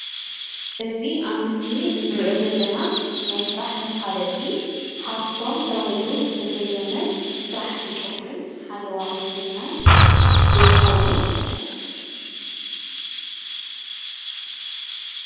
እዚ አብ ምስሊ እንሪኦ ዘለና ናይ ስራሕ መፋለጢ ሃፍቶም ተባሂሉ ዝተሰየመ ስራሕቲ ጨጉርን ሓለዋ ቁኑጅናን ዶ ይክውን?